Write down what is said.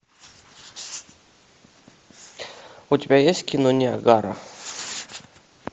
у тебя есть кино ниагара